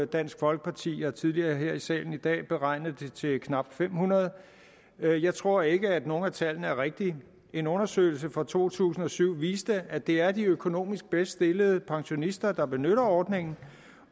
dansk folkeparti tidligere her i salen i dag har beregnet det til knap fem hundrede jeg tror ikke at nogen af tallene er rigtige en undersøgelse fra to tusind og syv viste at det er de økonomisk bedst stillede pensionister der benytter ordningen